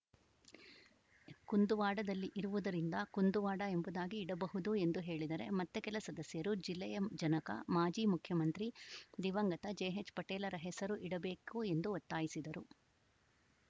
ಕುಂದುವಾಡದಲ್ಲಿ ಇರುವುದರಿಂದ ಕುಂದುವಾಡ ಎಂಬುದಾಗಿ ಇಡಬಹುದು ಎಂದು ಹೇಳಿದರೆ ಮತ್ತೆ ಕೆಲ ಸದಸ್ಯರು ಜಿಲ್ಲೆಯ ಜನಕ ಮಾಜಿ ಮುಖ್ಯಮಂತ್ರಿ ದಿವಂಗತ ಜೆಎಚ್‌ಪಟೇಲರ ಹೆಸರು ಇಡಬೇಕು ಎಂದು ಒತ್ತಾಯಿಸಿದರು